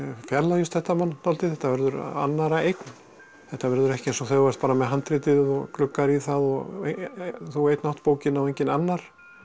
fjarlægist þetta mann dálítið þetta verður annarra eign þetta verður ekki eins og þegar þú ert með handritið og gluggar í það og þú einn átt bókina og enginn annar